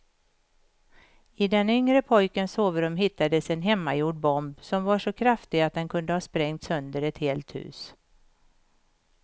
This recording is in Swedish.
I den yngre pojkens sovrum hittades en hemmagjord bomb som var så kraftig att den kunde ha sprängt sönder ett helt hus.